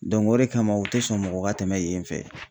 o de kama u tɛ sɔn mɔgɔ ka tɛmɛ yen fɛ.